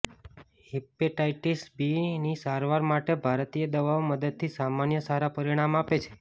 hepatitis B ની સારવાર માટે ભારતીય દવાઓ મદદથી સામાન્ય સારા પરિણામ આપે છે